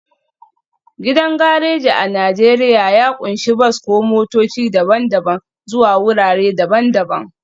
Gidan gareji a Najeriya ya ƙunshi bas ko motoci daban-daban zuwa wurare daban-daban